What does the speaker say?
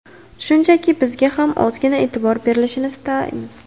Shunchaki bizga ham ozgina e’tibor berilishini istaymiz.